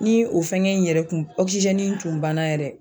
Ni o fɛngɛ in yɛrɛ kun ɔkisizɛni in tun banna yɛrɛ